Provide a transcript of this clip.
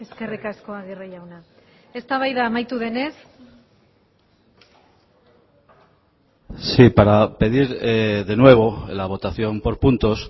eskerrik asko agirre jauna eztabaida amaitu denez sí para pedir de nuevo la votación por puntos